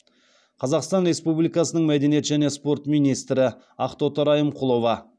қазақстан республикасының мәдениет және спорт министрі ақтоты райымқұлова